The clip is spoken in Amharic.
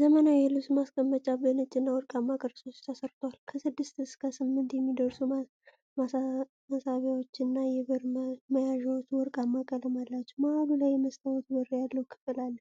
ዘመናዊ የልብስ ማስቀመጫ በነጭ እና ወርቃማ ቅርፆች ተሰርቷል። ከስድስት እስከ ስምንት የሚደርሱ መሳቢያዎች እና የበር መያዣዎች ወርቃማ ቀለም አላቸው። መሃሉ ላይ የመስታዎት በር ያለው ክፍል አለ።